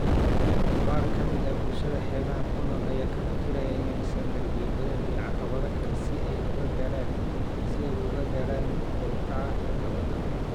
Qaar ka mid ah bulshada xeebaha ku nool ayaa ka fikiraya inay dhisaan derbiyo badeed iyo caqabado kale si ay uga gaadhaan kor u kaca heerka badda.